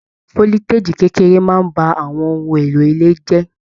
Foliteji kékeré náà bá àwọn ohùn èlò ilé jẹ.